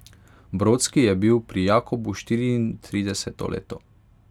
Brodski je bil pri Jakobu štiriintrideseto leto.